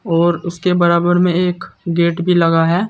और उसके बराबर में एक गेट भी लगा है।